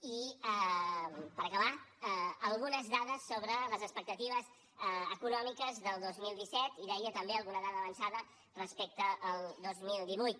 i per acabar algunes dades sobre les expectatives econòmiques del dos mil disset i deia també alguna dada avançada respecte al dos mil divuit